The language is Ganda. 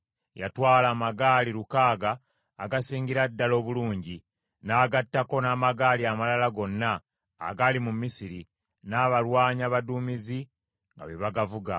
Yatwala amagaali lukaaga agasingira ddala obulungi, n’agattako n’amagaali amalala gonna agaali mu Misiri, n’abalwanyi abaduumizi nga be bagavuga.